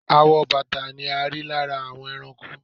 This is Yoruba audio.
Awọ bàtà ni a rí lára àwọn ẹranko.